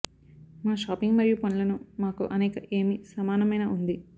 మా షాపింగ్ మరియు పనులను మాకు అనేక ఏమి సమానమైన ఉంది